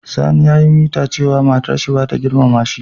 Sani ya yi mita cewa matar sa bata girmama shi.